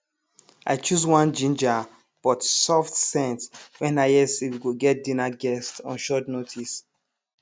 i choose one jinja but soft scent when i hear say we go get dinner guests on short notice